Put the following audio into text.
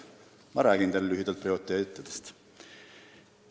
Ma räägin teile lühidalt prioriteetidest.